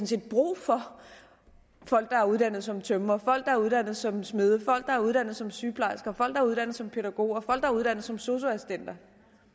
set brug for folk der er uddannet som tømrere folk der er uddannet som smede folk der er uddannet som sygeplejersker folk der er uddannet som pædagoger folk der er uddannet som sosu assistenter